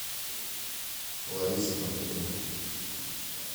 ларисы мартыновой